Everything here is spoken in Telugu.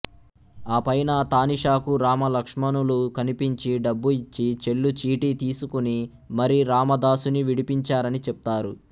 ఆపైన తానీషాకు రామ లక్ష్మణులు కనిపించి డబ్బు ఇచ్చి చెల్లుచీటీ తీసుకుని మరీ రామదాసుని విడిపించారని చెప్తారు